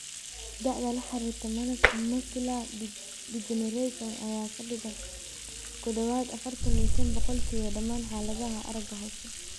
Da'da la xiriirta macular degeneration ayaa ka dhigan ku dhawaad ​​afaartan iyo shaan boqolkiiba dhammaan xaaladaha aragga hoose.